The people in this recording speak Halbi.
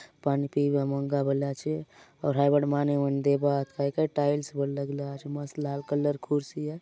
पानी पियबा मग्गा बले आचे आउर हाय बाटे माने मन देबा आत काई काई टाइल्स बले लगला आचे मस्त लाल कलर र कुर्सी आय।